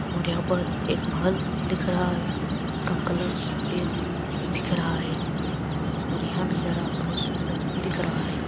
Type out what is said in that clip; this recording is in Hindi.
और यहाँ पर एक महल दिख रहा है। उसका कलर सफ़ेद दिख रहा है और यहाँ नजारा बहुत सुंदर दिख रहा है।